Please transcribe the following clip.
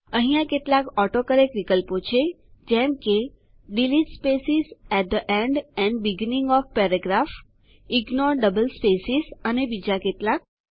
અહીંયા કેટલાક ઓટોકરેક્ટ વિકલ્પો છે જેમ કે delete spaces at the end end beginning of paragraph ignore double spaces અને બીજા કેટલાક